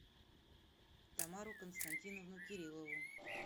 тамару константиновну кирилову